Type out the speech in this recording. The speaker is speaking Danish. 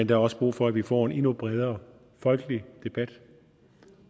der også brug for at vi får en endnu bredere folkelig debat